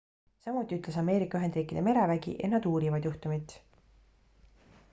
samuti ütles ameerika ühendriikide merevägi et nad uurivad juhtumit